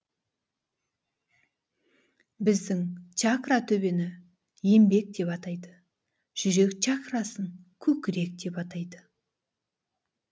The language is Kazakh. біздің чакра төбені енбек деп атайды жүрек чакрасын көкірек деп атайды